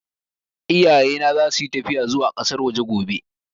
Iyaye na za su yi tafiya zuwa ƙasar waje gobe